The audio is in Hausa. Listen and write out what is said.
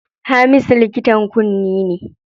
Hamisu likitan kunne ne.